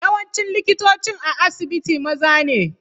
Yawancin likitocin a asibitin maza ne.